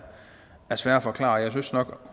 svære at forklare jeg synes nok